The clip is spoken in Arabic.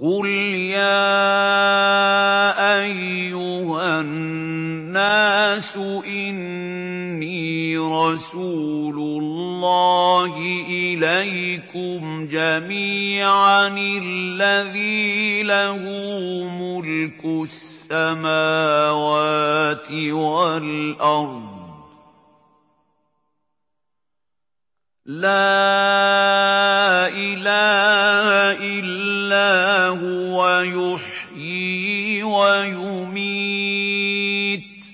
قُلْ يَا أَيُّهَا النَّاسُ إِنِّي رَسُولُ اللَّهِ إِلَيْكُمْ جَمِيعًا الَّذِي لَهُ مُلْكُ السَّمَاوَاتِ وَالْأَرْضِ ۖ لَا إِلَٰهَ إِلَّا هُوَ يُحْيِي وَيُمِيتُ ۖ